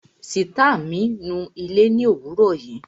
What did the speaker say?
Sìtá mi nu ilé ni òwúrò yìí